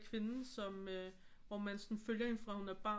Kvinde som hvor man sådan følger hende fra hun er barn